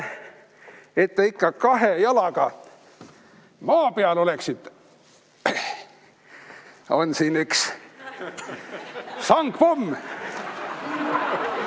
Et te ikka kahe jalaga maa peal oleksite, on siin üks sangpomm.